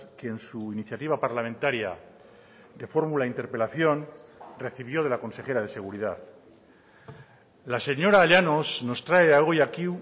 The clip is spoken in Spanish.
que en su iniciativa parlamentaria de fórmula interpelación recibió de la consejera de seguridad la señora llanos nos trae hoy aquí